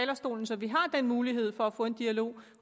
talerstolen så vi har den mulighed for at få den dialog